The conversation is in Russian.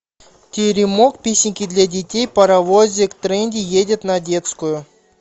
теремок песенки для детей паровозик трейни едет на детскую